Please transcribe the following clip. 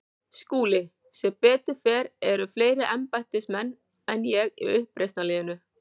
SKÚLI: Sem betur fer eru fleiri embættismenn en ég í uppreisnarliðinu.